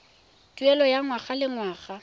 tuelo ya ngwaga le ngwaga